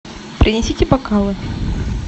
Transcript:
принесите бокалы